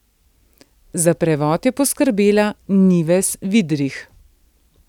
Za prevod je poskrbela Nives Vidrih.